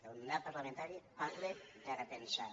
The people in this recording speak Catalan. el mandat parlamentari parla de repensar